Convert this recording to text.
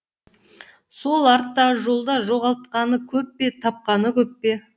сол арттағы жолда жоғалтқаны көп пе тапқаны көп пе